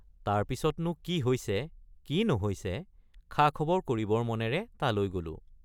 তাৰ পিচতনো কি হৈছে কি নহৈছে খাখবৰ কৰিবৰ মনেৰে তালৈ গলো।